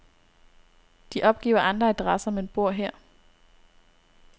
De opgiver andre adresser, men bor her.